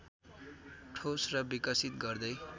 ठोस र विकसित गर्दै